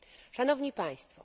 Szanowni państwo!